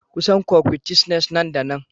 Kusan coquettishnes nan da nan